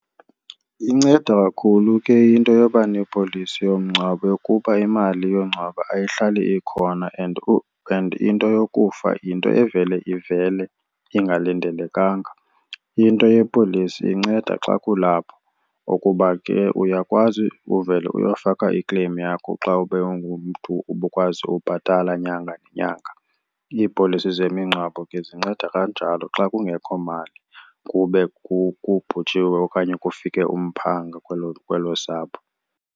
Inceda kakhulu ke into yoba nepolisi yomngcwabo yokuba imali yongcwaba ayihlali ikhona and into yokufa yinto evele ivele ingalindelekanga. Into yepolisi inceda xa kulapho ukuba ke uyakwazi uvele uyofaka i-claim yakho xa ube ungumntu ubukwazi ubhatala nyanga nenyanga. Iipolisi zemingcwabo ke zinceda kanjalo xa kungekho mali kube kubhujiwe okanye kufike umphanga kwelo kwelo sapho.